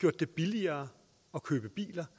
gjort det billigere at købe biler